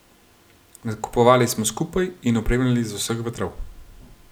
Nakupovali smo skupaj in opremljali z vseh vetrov.